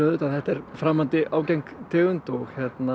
að þetta er framandi ágeng tegund og